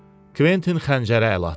Kventin xəncərə əl atdı.